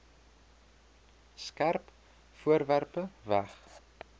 skerp voorwerpe weg